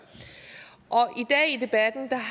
i debatten